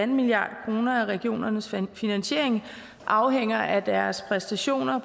milliard kroner af regionernes finansiering afhænger af deres præstationer